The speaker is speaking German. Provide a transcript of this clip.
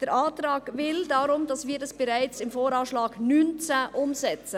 Der Antrag will, dass wir die Umsetzung bereits im Jahr 2019 vornehmen.